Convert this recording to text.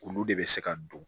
Olu de bɛ se ka don